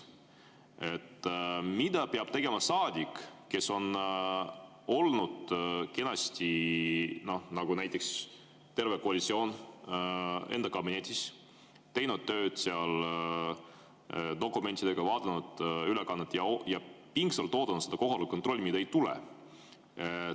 Mida peab tegema saadik, kes on olnud kenasti, nagu näiteks terve koalitsioon enda kabinettides, teinud tööd seal dokumentidega, vaadanud ülekannet ja pingsalt oodanud seda kohaloleku kontrolli, mida ei tule?